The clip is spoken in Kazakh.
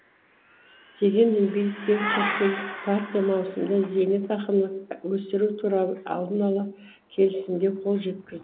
дегенмен биліктегі социалистік партия маусымда зейнетақыны өсіру туралы алдын ала келісімге қол жеткізд